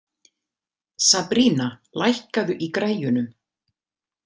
Sabrína, lækkaðu í græjunum.